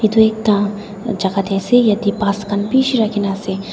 edu ekta jaka tae ase yatae bus khan bishi rakhi na ase.